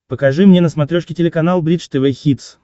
покажи мне на смотрешке телеканал бридж тв хитс